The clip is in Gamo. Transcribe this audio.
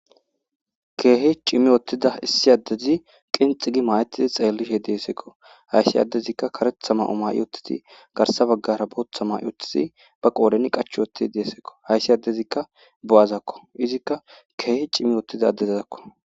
Keehi cimi wothiza issi adezi qilxi gi mayetidi xeelishe de'esko haysi adezika karetha mayo mayutidi garsa bagara bootha mayutidi ba qooren qachi wothidi de'esko haysi adezika bo'azako izika keehi cimi wothiza adezako.